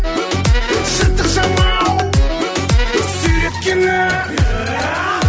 жыртық жамау сүйреткенің